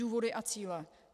Důvody a cíle.